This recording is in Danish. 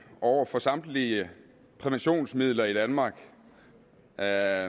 over for samtlige præventionsmidler i danmark jeg